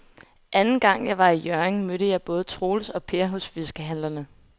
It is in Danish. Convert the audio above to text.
Anden gang jeg var i Hjørring, mødte jeg både Troels og Per hos fiskehandlerne.